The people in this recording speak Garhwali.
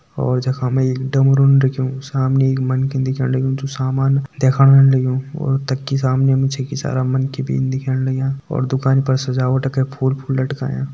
और जखम एक डमरू रखयूं सामने एक मनकी दिख्याण लगयूं जो सामान दिख्याण लगयूं और तकि सामने मनकी भी दिख्याण लाग्यां और दुकान पर सजावट का फूल-फूल लटकायां।